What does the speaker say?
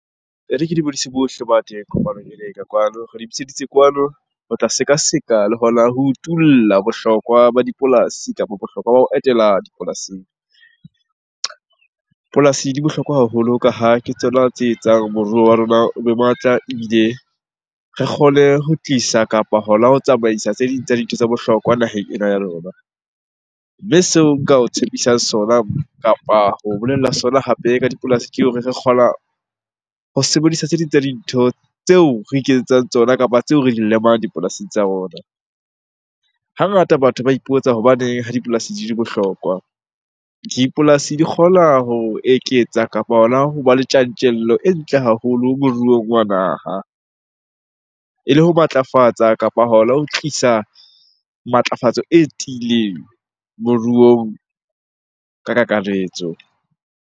E re ke dumedise bohle ba teng kopanong ena eka kwano. Re le bitseditse kwano ho tla seka-seka le hona ho utula bohlokwa ba dipolasi kapa bohlokwa ba ho etela dipolasing. Polasi di bohlokwa haholo ka ha ke tsona tse etsang moruo wa rona o be matla ebile re kgone ho tlisa kapa hona ho tsamaisa tse ding tsa dintho tsa bohlokwa naheng ena ya . Mme seo nka o tshepisang sona kapa ho bolella sona hape ka dipolasi ke ho re re kgona ho sebedisa tse ding tsa dintho tseo re iketsetsang tsona kapa tseo re di lemang dipolasing tsa rona. Hangata batho ba ipotsa hobaneng ha dipolasi di le bohlokwa? Dipolasi di kgona ho eketsa kapa hona hoba le tjantjello e ntle haholo moruong wa naha ele ho matlafatsa kapa hona ho tlisa matlafatso e tiileng moruong ka kakaretso.